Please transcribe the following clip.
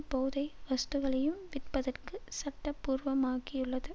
போதை வஸ்துகளையும் விற்பதற்கு சட்டபூர்வமாக்கியுள்ளது